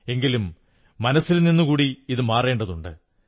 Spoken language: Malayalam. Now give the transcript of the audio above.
എങ്കിലും മനസ്സിൽ നിന്നുകൂടി ഇത് മാറേണ്ടതുണ്ട്